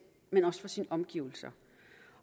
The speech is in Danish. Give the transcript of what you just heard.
men også for sine omgivelser